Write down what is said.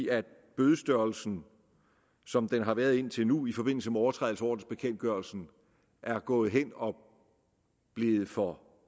at bødestørrelsen som den har været indtil nu i forbindelse med overtrædelse af ordensbekendtgørelsen er gået hen og blevet for